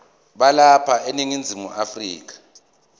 balapha eningizimu afrika